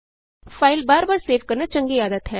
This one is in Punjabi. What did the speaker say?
ਫਾਈਲ ਬਾਰ ਬਾਰ ਸੇਵ ਕਰਨਾ ਚੰਗੀ ਆਦਤ ਹੈ